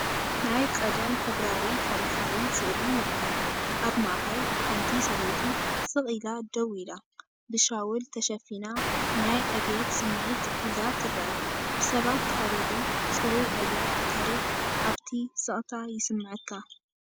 ናይ ቀደም ሕብራዊ ታሪኻዊ ስእሊ ይርአ። ኣብ ማእከል ሓንቲ ሰበይቲ ስቕ ኢላ ደው ኢላ፡ ብሻውል ተሸፊና፡ ናይ ዕብየት ስምዒት ሒዛ ትረአ፤ ብሰባት ተኸቢቡ፡ ጽሩይ ኣየር ታሪኽ ኣብቲ ስቕታ ይስመዓካ።